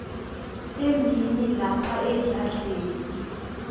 emini lapha edladleni